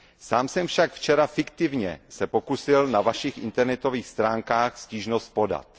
Sám jsem se však včera fiktivně pokusil na Vašich internetových stránkách stížnost podat.